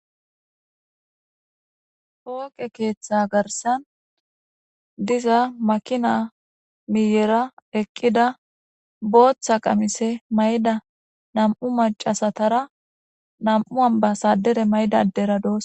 Poqe keeththa garisani diza makina miyera eqida botha qamise mayidda namu maccasatara namu ammibbasadare mayida asati dosona